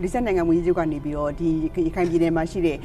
မလေးရှားနိုင်ငံ ဝန်ကြီးချုပ် ကနေပြီးတော့ ရခိုင်ပြည်နယ်မှာရှိတဲ့